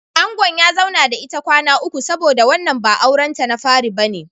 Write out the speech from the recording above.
Angon ya zauna da ita kwana uku saboda wannan ba auren ta na fari bane.